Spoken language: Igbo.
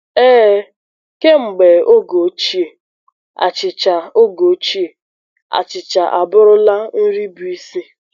Ee, kemgbe oge ochie, achịcha oge ochie, achịcha abụrụla nri bụ isi.